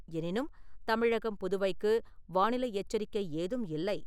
எனினும், தமிழகம் புதுவைக்கு வானிலை எச்சரிக்கை ஏதும் இல்லை.